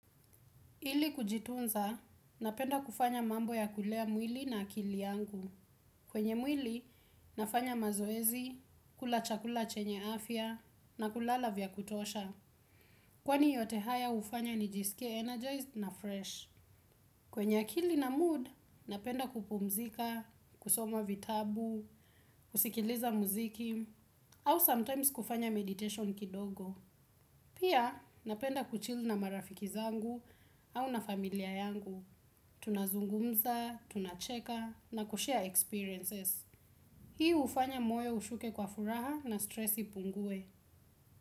Ili kujitunza, napenda kufanya mambo ya kulea mwili na akili yangu. Kwenye mwili, nafanya mazoezi, kula chakula chenye afya, na kulala vya kutosha. Kwani yote haya hufanya nijisikie energized na fresh. Kwenye akili na mood napenda kupumzika, kusoma vitabu, kusikiliza muziki ama sometimes kufanya meditation kidogo. Pia, napenda kuchill na marafiki zangu au na familia yangu. Tunazungumza, tunacheka na kushare experiences. Hii hufanya moyo ushuke kwa furaha na stresi ipungue.